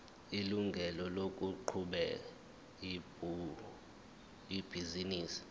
ilungelo lokuqhuba ibhizinisi